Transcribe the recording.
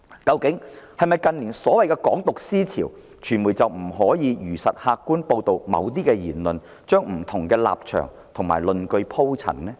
對於近年的所謂"港獨"思潮，傳媒是否不能如實客觀報道某些言論，把不同立場及論據鋪陳？